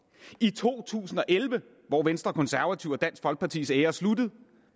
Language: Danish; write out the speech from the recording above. i to tusind og elleve hvor venstre konservative og dansk folkepartis æra sluttede